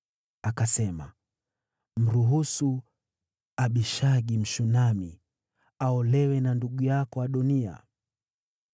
Akasema, “Mruhusu Abishagi, Mshunami, aolewe na ndugu yako Adoniya.”